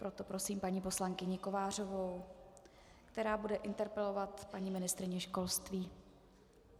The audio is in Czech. Proto prosím paní poslankyni Kovářovou, která bude interpelovat paní ministryni školství.